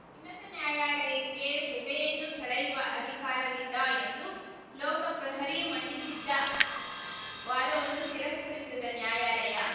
ಉನ್ನತ ನ್ಯಾಯಾಲಯಕ್ಕೆ ಸಜೆಯನ್ನು ತಡೆಯುವ ಅಧಿಕಾರವಿಲ್ಲ ಎಂದು ಲೋಕಪ್ರಹರಿ ಮಂಡಿಸಿದ್ದ ವಾದವನ್ನು ತಿರಸ್ಕರಿಸಿದ ನ್ಯಾಯಾಲಯ